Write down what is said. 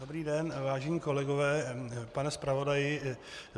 Dobrý den, vážení kolegové, pane zpravodaji.